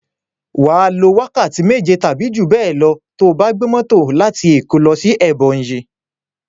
Wà á lo wákàtí méje tàbí jú bẹ́è lọ to bá gbé mọ́tò láti Èkó lọ sí Ẹbọnyi.